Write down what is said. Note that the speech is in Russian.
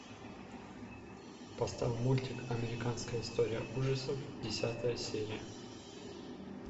поставь мультик американская история ужасов десятая серия